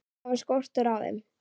Það var skortur á þeim.